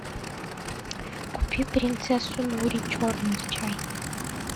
купи принцессу нури черный чай